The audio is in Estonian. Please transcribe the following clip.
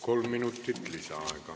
Kolm minutit lisaaega.